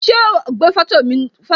Ṣé wá gbé foto náà